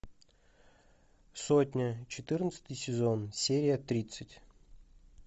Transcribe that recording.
сотня четырнадцатый сезон серия тридцать